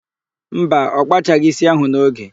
Mba, ọ kpachaghị ísí ahụ n'oge.